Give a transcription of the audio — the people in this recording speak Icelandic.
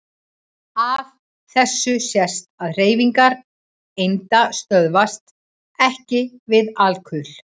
Af þessu sést að hreyfingar einda stöðvast EKKI við alkul.